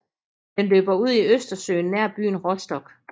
Den løber ud i Østersøen nær byen Rostock